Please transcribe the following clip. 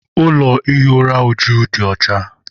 Ụlọ ihi ụra Uju dị ọcha.